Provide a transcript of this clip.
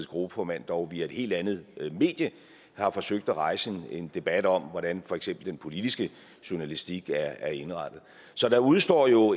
gruppeformand dog via et helt andet medie har forsøgt at rejse en debat om hvordan for eksempel den politiske journalistik er indrettet så der udestår jo